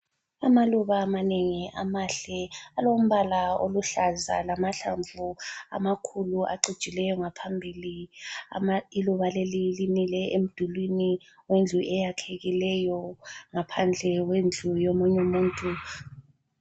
Amaluba amanengi amahle alombala oluhlaza lamahlamvu amakhulu acijileyo ngaphambili, iluba leli limile emdulwini wendlu eyakhekileyo ,ngaphandle kwendlu yomunye umuntu